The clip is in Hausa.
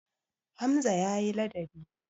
Hamza ya yi ladabi.